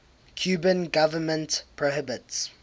cuban government prohibits